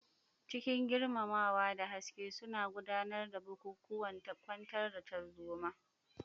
Cikin girmamawa da gaske suna gudanar da bukukuwan kwantar da tarzoma.